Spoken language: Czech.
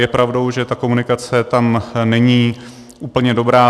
Je pravdou, že ta komunikace tam není úplně dobrá.